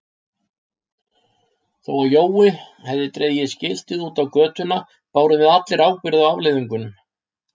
Þó að Jói hefði dregið skiltið út á götuna bárum við allir ábyrgð á afleiðingunum.